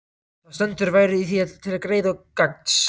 Þar stendur: Værirðu í því til greiða og gagns,